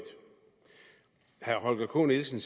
herre holger k nielsen